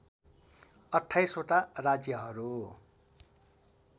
२८ वटा राज्यहरू